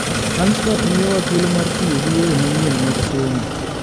Langstroth miyowa thuolo mar tiyo gi yore manyien mag somo.